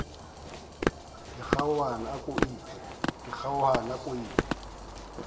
ke kgaohana a ko iphe